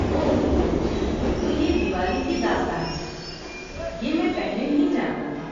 اوہ، تو یہ دیوالی کی داستان ہے۔ یہ میں پہلے نہیں جانتا تھا۔